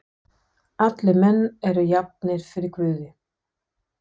Allir menn eru jafnir fyrir guði.